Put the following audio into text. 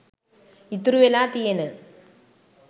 ඉතුරු වෙලා තියෙන